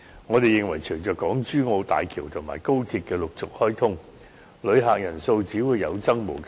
我們認為隨着港珠澳大橋及高鐵的陸續開通，旅客人數只會有增無減。